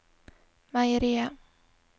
meieriet